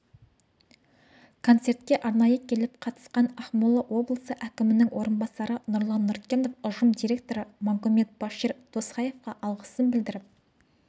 концертке арнайы келіп қатысқан ақмола облысы әкімінің орынбасары нұрлан нұркенов ұжым директоры магомет-башир досхоевқа алғысын білдіріп